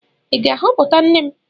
Ị ga-ahọpụta nne m?